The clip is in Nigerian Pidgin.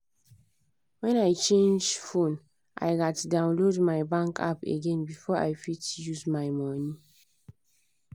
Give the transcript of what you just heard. when i change phone i gats download my bank app again before i fit use my money